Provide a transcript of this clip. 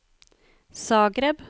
Zagreb